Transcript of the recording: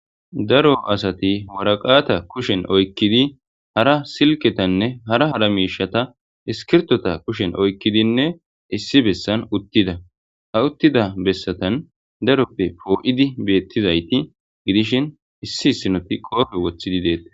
daro asati woraqaata kushen oykkidi hara silketanne hara hara miishata iskirtota kushen oykkidinne issi bessan uttida ha uttida bessatan daroppe poo'idi beettizayti gidishin issisinoti qoofe wothidi deettes